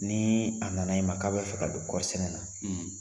Ni a na na i ma k'a bɛ fɛ ka don kɔɔri sɛnɛ na.